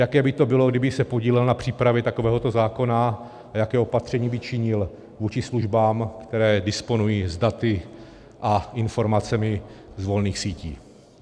Jaké by to bylo, kdyby se podílel na přípravě takového zákona, a jaké opatření by činil vůči službám, které disponují s daty a informacemi z volných sítí.